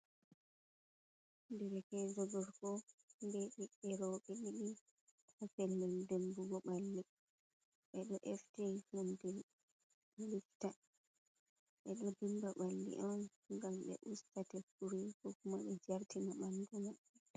Derkejo gorko be ɓiɓɓe reube ɗiɗi ha pellel dimbugo ɓalli. Ɓe do efti humde lifta ɓe ɗo dimba ɓalli on ngam ɓe usta tekkuri ko kuma ɓe jartina ɓandu mai.